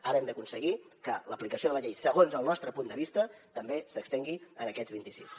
ara hem d’aconseguir que l’aplicació de la llei segons el nostre punt de vista també s’estengui a aquests vint i sis